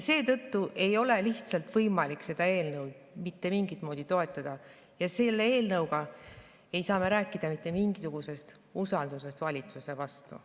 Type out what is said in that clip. Seetõttu ei ole lihtsalt võimalik seda eelnõu toetada ja selle eelnõu puhul ei saa me rääkida mitte mingisugusest usaldusest valitsuse vastu.